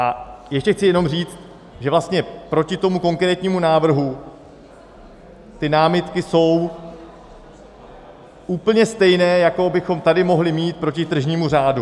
A ještě chci jenom říct, že vlastně proti tomu konkrétnímu návrhu ty námitky jsou úplně stejné, jaké bychom tady mohli mít proti tržnímu řádu.